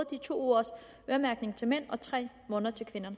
de to ugers øremærkning til mænd og tre måneder til kvinder